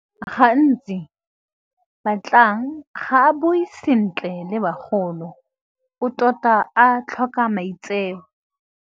Gantsi Batlang ga a bue sentle le bagolo o tota a tlhoka maitseo.